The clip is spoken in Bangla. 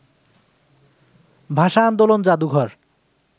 ভাষা-আন্দোলন জাদুঘর